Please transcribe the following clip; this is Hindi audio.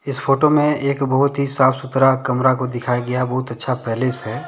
इस फोटो में एक बहुत ही साफ सुथरा कमरा को दिखाया गया बहुत अच्छा पैलेस हैं।